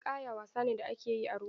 Ninƙaya wasa ne da ake yi a ruwa.